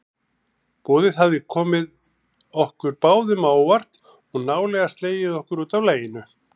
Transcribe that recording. Boðið hafði komið okkur báðum á óvart og nálega slegið okkur útaf laginu.